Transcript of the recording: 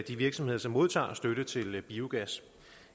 de virksomheder som modtager støtte til biogas